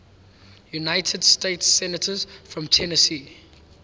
united states senators from tennessee